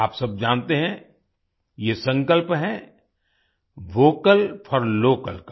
आप सब जानते हैं ये संकल्प है वोकल फोर लोकल का